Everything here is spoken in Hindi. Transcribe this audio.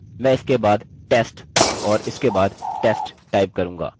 अब यह strip tag फंक्शन इस html और इस body से छुटकारा दिलाएगा